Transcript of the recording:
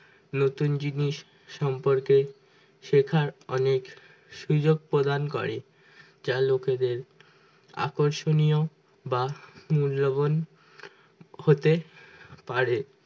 নতুন জিনিস সম্পর্কে শেখার অনেক সুযোগ প্রদান করে যা লোকেদের আকর্ষণীয় বা মূল্যবান হতে পারে